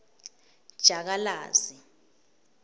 jakalazi